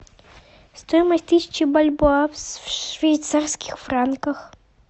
стоимость тысячи бальбоа в швейцарских франках